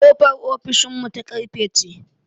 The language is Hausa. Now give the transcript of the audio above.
Ƙofar ofishin mu ta ƙarfe ce